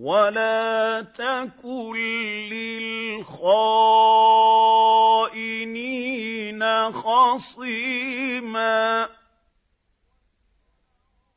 وَلَا تَكُن لِّلْخَائِنِينَ خَصِيمًا